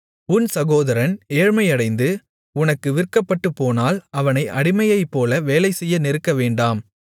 உன் சகோதரன் ஏழ்மையடைந்து உனக்கு விற்கப்பட்டுப்போனால் அவனை அடிமையைப்போல வேலைசெய்ய நெருக்கவேண்டாம்